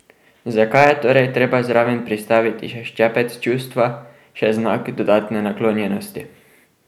Zakaj je torej treba zraven pristaviti še ščepec čustva, še znak dodatne naklonjenosti?